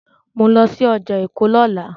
Mò ń lọ sí ọjà Èkó lọ́la.